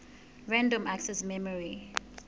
random access memory